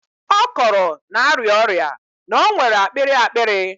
Ọ kọrọ na-arịa ọrịa, na o nwere akpịrị akpịrị.